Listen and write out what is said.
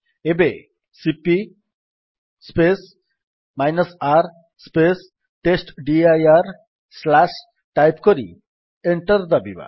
ଏବେ cp R test dir type କରି enter ଦାବିବା